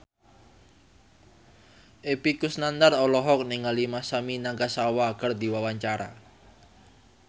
Epy Kusnandar olohok ningali Masami Nagasawa keur diwawancara